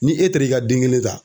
Ni e taara i ka den kelen ta